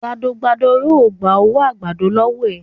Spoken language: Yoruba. gbádọ gbádọ o gbà owo àgbàdo lówó rẹ